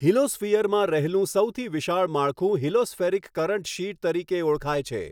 હિલોસ્ફિયરમાં રહેલું સાૈથી વિશાળ માળખું હિલોસ્ફેરિક કરન્ટ શીટ તરીકે ઓળખાય છે.